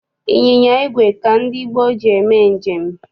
Ịnyịnya igwe ka ndị gboo ji eme njem.